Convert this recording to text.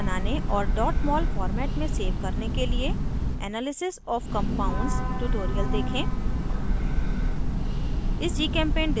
structures को बनाने और mol format में सेव करने के लिए analysis of compounds tutorial देखें